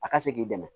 A ka se k'i dɛmɛ